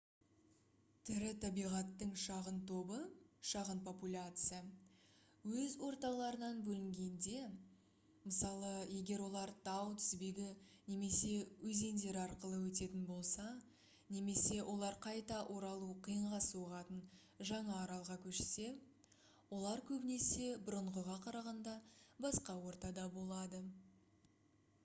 тірі табиғаттың шағын тобы шағын популяция өз орталарынан бөлінгенде мысалы егер олар тау тізбегі немесе өзендер арқылы өтетін болса немесе олар қайта оралу қиынға соғатын жаңа аралға көшсе олар көбінесе бұрынғыға қарағанда басқа ортада болады